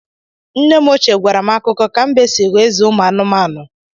Nne m ochie gwara m akụkọ ka mbe si ghọ eze anụmanụ.